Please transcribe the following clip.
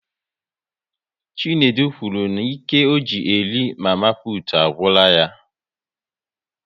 Chinedu kwuru n'ike ọ ji eri nri mama putu agwụla ya